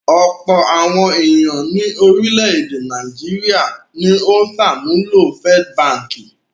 Ọ̀pọ̀ àwọn ènìyàn ní orílẹ̀-èdè Nàìjíríà ni ó ń ṣàmúlò First Báńkì.